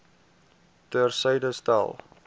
ter syde stel